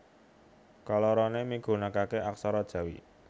Kaloroné migunakaké aksara Jawi